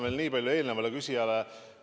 Ma vastan veel eelnevale küsijale.